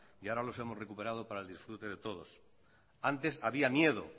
y ahora los hemos recuperado para el disfrute de todos antes había miedo